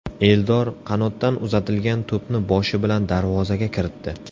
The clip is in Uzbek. Eldor qanotdan uzatilgan to‘pni boshi bilan darvozaga kiritdi.